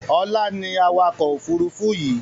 Ọlá ni awakọ̀ Òfurufú yii